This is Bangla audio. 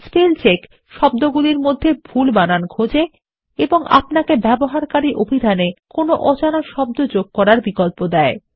স্পেল চেক শব্দগুলির মধ্যে ভুল বানান খোজে এবং আপনাকে ব্যবহারকারী অভিধান এ কোনো অজানা শব্দ যোগ করার বিকল্প দেয়